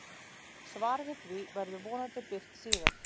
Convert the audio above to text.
Svar við því verður vonandi birt síðar.